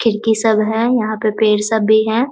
खिड़की सब है। यहाँ पे पेड़ सब भी है।